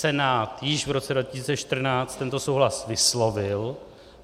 Senát již v roce 2014 tento souhlas vyslovil.